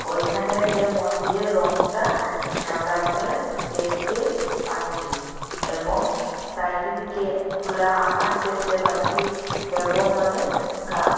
ওইখানের যে মন্দিরের রঙটা সাদা রঙের দেখতে পাচ্ছি এবং সাইডে দিকে খুলা আকাশ দেখতে পাচ্ছি এবং অনেক গার্ক--